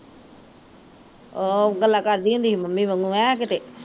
ਓਹ ਗੱਲਾ ਕਰਦੀ ਹੁੰਦੀ ਸੀ ਮੰਮੀ ਵਾਂਗੂ ਐ ਕਿਤੇ